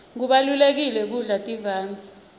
kubalulekile kudla tivandze